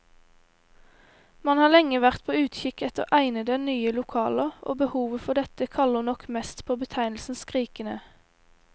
Man har lenge vært på utkikk etter egnede, nye lokaler, og behovet for dette kaller nok mest på betegnelsen skrikende.